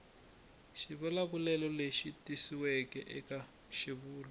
xivulavulelo lexi tikisiweke eka xivulwa